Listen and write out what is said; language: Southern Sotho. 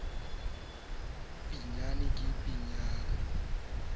ya panama ya re pheu